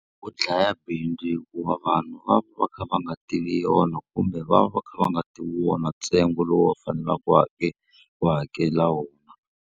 U dlaya bindzu hikuva vanhu va va va kha va nga tivi yona kumbe va va va kha va nga ti wona ntsengo lowu va faneleke ku ku hakela wona.